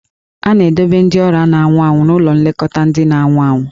A na-edobe ndị ọrịa na-anwụ anwụ n'ụlọ nlekọta ndị na-anwụ anwụ.